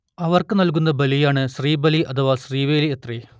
അവർക്ക് നൽകുന്ന ബലിയാണ് ശ്രീബലി അഥവാ ശീവേലി അത്രെ